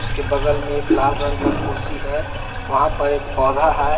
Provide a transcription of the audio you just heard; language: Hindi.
उसके बगल में एक लाल रंग का कुर्सी है वहां पर एक पौधा है।